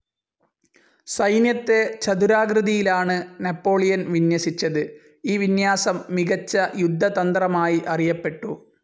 സൈന്യത്തെ ചതുരാകൃതിയിലാണ് നാപ്പോളിയൻ വിന്യസിച്ചത്, ഈ വിന്യാസം മികച്ച യുദ്ധതന്ത്രമായി അറിയപ്പെട്ടു.